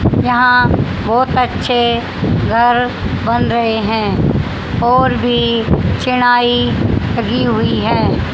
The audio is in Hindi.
यहां बहोत अच्छे घर बना रहे हैं और भी छिड़ाईं लगी हुई है।